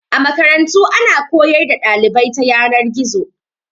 A Makarantu ana koyar da dalibai ta Yanar-gizo